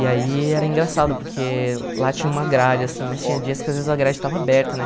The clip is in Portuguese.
E aí era engraçado, porque lá tinha uma grade, assim, mas tinha dias que às vezes a grade estava aberta, né?